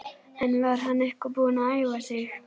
En var hann eitthvað búinn að æfa sig?